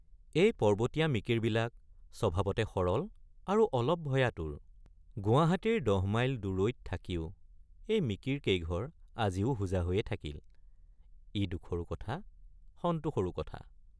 এই পৰ্বতীয়া মিকিৰবিলাক স্বভাৱতে সৰল আৰু অলপ ভয়াতুৰ ৷ গুৱাহাটীৰ দহমাইল দূৰৈত থাকি এই মিকিৰকেইঘৰ আজিও হোজা হৈয়েই থাকিল—ই দুখৰো কথা সন্তোষৰো কথা।